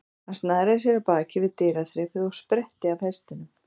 Hann snaraði sér af baki við dyraþrepið og spretti af hestinum.